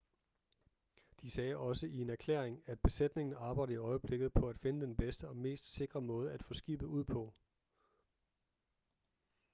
de sagde også i en erklæring at besætningen arbejder i øjeblikket på at finde den bedste og mest sikre måde at få skibet ud på